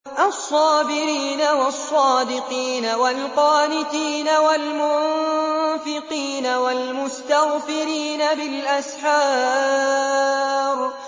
الصَّابِرِينَ وَالصَّادِقِينَ وَالْقَانِتِينَ وَالْمُنفِقِينَ وَالْمُسْتَغْفِرِينَ بِالْأَسْحَارِ